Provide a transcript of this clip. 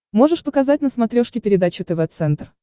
можешь показать на смотрешке передачу тв центр